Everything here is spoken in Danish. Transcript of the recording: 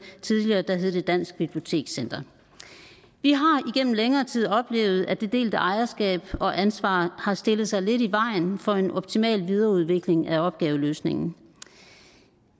dansk bibliotekscenter vi har igennem længere tid oplevet at det delte ejerskab og ansvar har stillet sig lidt i vejen for en optimal videreudvikling af opgaveløsningen